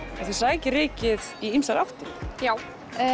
þið sækið rykið í ýmsar áttir já